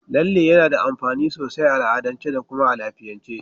Lalle yana da amfani sosai a al'adance da kuma a lafiyance.